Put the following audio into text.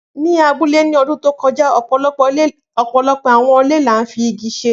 Ni abule ni ọdun to kọja, ọpọlọpọ awọn ile ni a fi igi ṣe